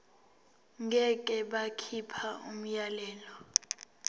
ngeke bakhipha umyalelo